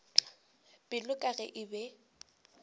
pelo ka ge e be